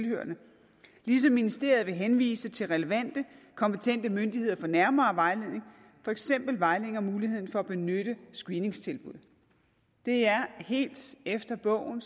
ligesom ministeriet vil henvise til relevante kompetente myndigheder for nærmere vejledning for eksempel vejledning om muligheden for at benytte screeningstilbud det er helt efter bogen om